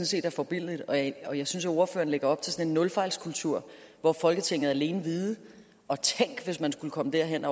set er forbilledlig og jeg og jeg synes at ordføreren lægger op til sådan en nulfejlskultur hvor folketinget alene vide og tænk hvis man skulle komme derhen